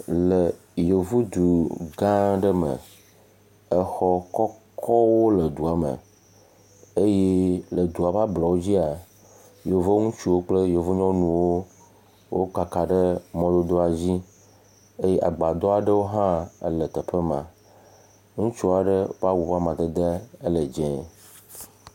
Le yevudu gã aɖe me, exɔ kɔkɔwo le dua me eye le dua ƒe ablɔwo dzia, yevu ŋutsuwo kple yevu nyɔnuwo, wokaka ɖe mɔdodoa dzi eye agbadɔ aɖewo hã le teƒe ma, ŋutsu aɖe ƒe awu ƒe amadede ele dzee.